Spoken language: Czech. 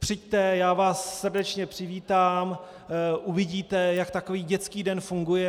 Přijďte, já vás srdečně přivítám, uvidíte, jak takový dětský den funguje.